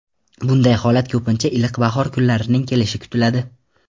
Bunday holatda ko‘pincha iliq bahor kunlarining kelishi kutiladi.